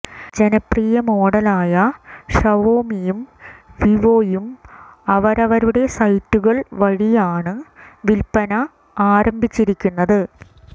ജനപ്രിയ മോഡലായ ഷവോമിയും വിവോയും അവരവരുടെ സൈറ്റുകൾ വഴിയാണ് വിൽപ്പന ആരംഭിച്ചിരിക്കുന്നത്